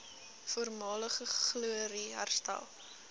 voormalige glorie herstel